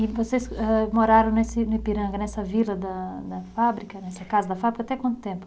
E vocês âh moraram nesse no Ipiranga, nessa vila da da fábrica, nessa casa da fábrica, até quanto tempo?